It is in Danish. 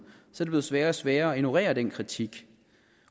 er det blevet sværere og sværere at ignorere den kritik